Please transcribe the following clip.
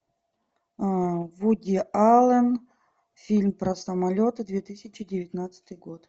вуди аллен фильм про самолеты две тысячи девятнадцатый год